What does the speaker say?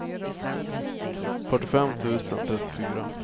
fyrtiofem tusen trettiofyra